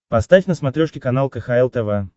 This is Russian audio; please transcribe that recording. поставь на смотрешке канал кхл тв